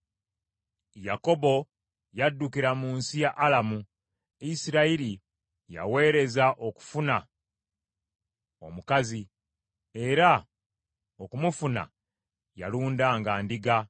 Yakobo yaddukira mu nsi ya Alamu; Isirayiri yaweereza okufuna omukazi, era okumufuna yalundanga ndiga.